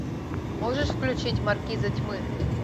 можешь включить маркиза тьмы